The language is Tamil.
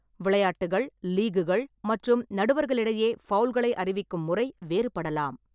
விளையாட்டுகள், லீக்குகள் மற்றும் நடுவர்களிடையே ஃபவுல்களை அறிவிக்கும் முறை வேறுபடலாம்.